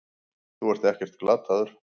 Þú ert ekkert glataður.